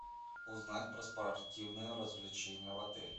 узнать про спортивные развлечения в отеле